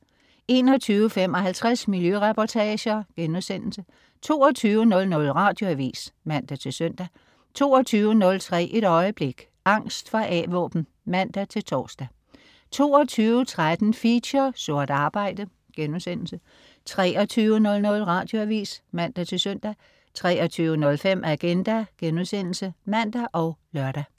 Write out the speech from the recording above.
21.55 Miljøreportager* 22.00 Radioavis (man-søn) 22.03 Et øjeblik. Angst for A-våben (man-tors) 22.13 Feature: Sort arbejde* 23.00 Radioavis (man-søn) 23.05 Agenda* (man og lør)